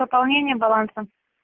пополнение баланса